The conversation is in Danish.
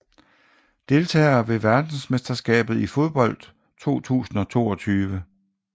Deltagere ved verdensmesterskabet i fodbold 2022